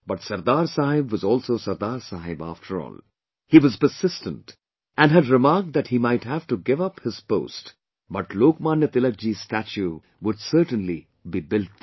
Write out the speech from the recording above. But Sardar Saheb was also Sardar Saheb after all, he was persistent and had remarked that he might have to give up on his post but Lok Manya Tilakji's statue would certainly be built there